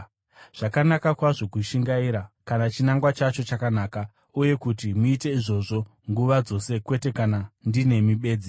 Zvakanaka kwazvo kushingaira, kana chinangwa chacho chakanaka, uye kuti muite izvozvo nguva dzose kwete kana ndinemi bedzi.